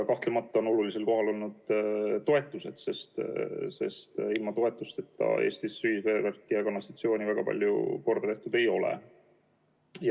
Kahtlemata on olulisel kohal olnud toetused, sest ilma toetusteta Eestis ühisveevärki ja ‑kanalisatsiooni väga palju korda tehtud ei ole.